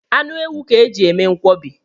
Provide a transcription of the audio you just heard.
Anụ ewu ka e ji eme nkwọbi